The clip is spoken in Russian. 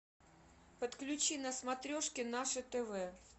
подключи на смотрешке наше тв